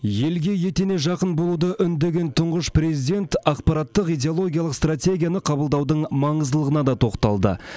елге етене жақын болуды үндеген тұңғыш президент ақпараттық идеологиялық стратегияны қабылдаудың маңыздылығына да тоқталды